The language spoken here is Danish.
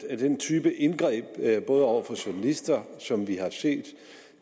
af den type indgreb over for journalister som vi har set